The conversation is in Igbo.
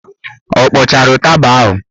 Ọ kpọchara ụtaba ahụ?